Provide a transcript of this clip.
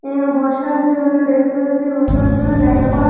এ বসার জন্য desk bench এ বসার জন্য জায়গা করা--